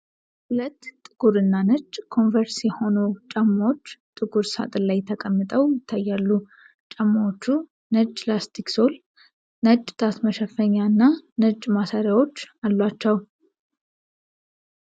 ሁለት ጥቁር እና ነጭ ኮንቨርስ የሆኑ ጫማዎች ጥቁር ሳጥን ላይ ተቀምጠው ይታያሉ። ጫማዎቹ ነጭ ላስቲክ ሶል፣ ነጭ ጣት መሸፈኛ እና ነጭ ማሰሪያዎች አሏቸው።